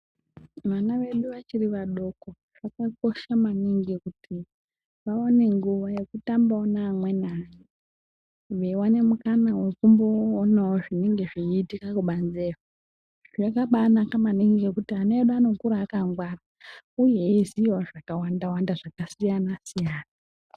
Vana vedu vachiri vadoko zvakakosha maningi kuti vawane nguwa yekutambawo neamweni ana veiwane mukana wekuona zvenenge zveiitika kubanzeyo zvakabanaka maningi ngekuti vana vedu vanokura vakangwara uye eiziyawo zvakawanda-wanda zvakasiyana-siyana.